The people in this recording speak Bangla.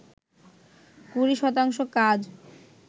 কুড়ি শতাংশ কাজ